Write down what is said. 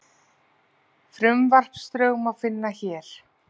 Frumvarpsdrögin má finna hér